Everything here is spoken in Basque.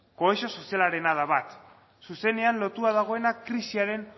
kohesio sozialarena da bat zuzenean lotua dagoena krisiaren